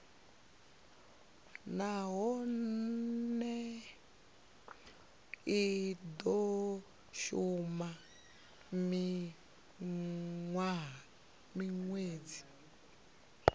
nahone i do shuma minwedzi